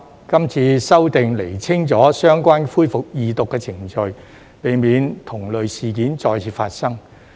今次修訂釐清了相關恢愎二讀的程序，避免同類事件再次發生。